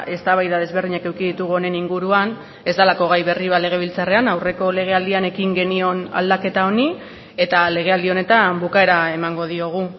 eztabaida desberdinak eduki ditugu honen inguruan ez delako gai berri bat legebiltzarrean aurreko legealdian ekin genion aldaketa honi eta legealdi honetan bukaera emango diogu